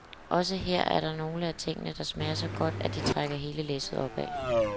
Også her er det nogle af tingene, der smager så godt, at de trækker hele læsset opad.